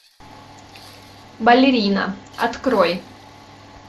балерина открой